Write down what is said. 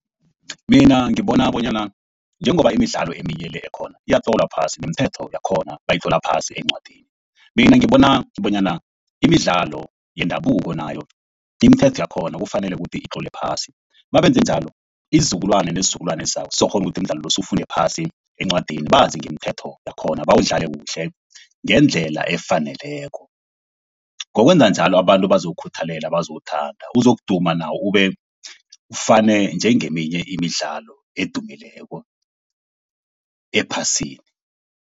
Mina ngibona bonyana njengoba imidlalo eminye le ekhona iyatlolwa phasi, nemithetho yakhona iyatlolwa phasi encwadini. Mina ngibona bonyana imidlalo yendabuko nayo, imithetho yakhona kufanele ukuthi itlolwe phasi. Mabenze njalo isizukulwane nesizukulwane esizako sizokukghona ukuthi imidlalo le siyifunde phasi encwadini bazi ngemithetho yakhona, bawudlale kuhle ngendlela efaneleko. Ngokwenza njalo abantu bazowukhuthalela bazowuthanda uzokuduma nawo ufane njengeminye imidlalo edumileko ephasini.